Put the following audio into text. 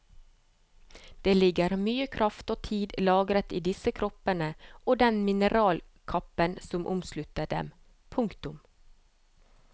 Det ligger mye kraft og tid lagret i disse kroppene og den mineralkappen som omslutter dem. punktum